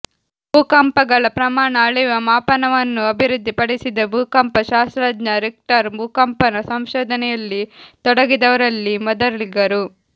ಭೂಕಂಪಗಳ ಪ್ರಮಾಣ ಅಳೆಯುವ ಮಾಪನವನ್ನು ಅಭಿವೃದ್ಧಿ ಪಡಿಸಿದ ಭೂಕಂಪ ಶಾಸ್ತ್ರಜ್ಞ ರಿಕ್ಟರ್ ಭೂಕಂಪನ ಸಂಶೋಧನೆಯಲ್ಲಿ ತೊಡಗಿದವರಲ್ಲಿ ಮೊದಲಿಗರು